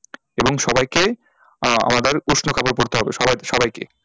এবং সবাইকে আহ আমাদের উষ্ণ কাপড় পড়তে হবে সবাই সবাইকে